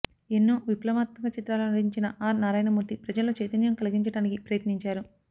ఎన్నో విప్లవాత్మక చిత్రాలలో నటించిన ఆర్ నారాయణ మూర్తి ప్రజల్లో చైతన్యం కలిగించడానికి ప్రయత్నించారు